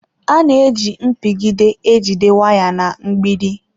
A na-eji mpigide e jide waya na mgbidi.